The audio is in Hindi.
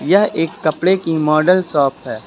यह एक कपड़े की मॉडल शॉप है।